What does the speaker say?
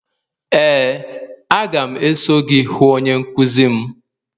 ee, a ga m eso gị hụ onye nkuzi m.